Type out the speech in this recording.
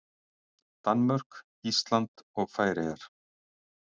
Danmörk, Ísland og Færeyjar.